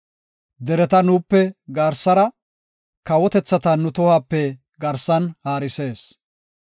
Dereta nuupe garsara, kawotethata nu tohuwape garsan haarisees.